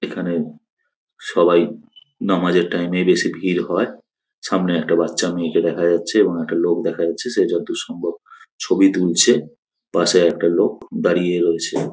এখানে সবাই নামাজের টাইম - এ বেশি ভির হয়। সামনে একটা বাচ্চা মেয়েকে দেখা যাচ্ছে এবং একটা লোক দেখা যাচ্ছে সে যতদূর সম্ভব ছবি তুলছে। পাশে একটা লোক দাড়িয়ে রয়েছে।